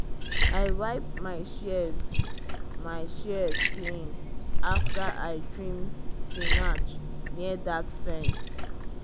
i wipe my shears my shears clean after i trim spinach near that fence.